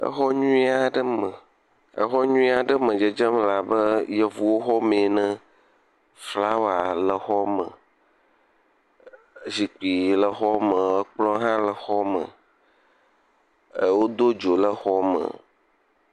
Exɔ nyuie aɖe me. Exɔ nyuie aɖe me dzedzem la be Yevuwo xɔme ene. Flawaa le xɔme. Zikpi le xɔ me. Ekplɔ̃ hã le xɔme ɛɛ wodo dzo le xɔme.